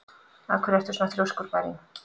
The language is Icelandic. Af hverju ertu svona þrjóskur, Bæring?